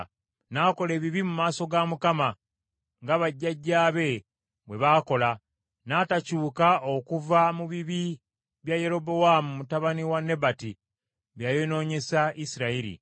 N’akola ebibi mu maaso ga Mukama , nga bajjajjaabe bwe baakola, n’atakyuka okuva mu bibi bya Yerobowaamu mutabani wa Nebati bye yayonoonyesa Isirayiri.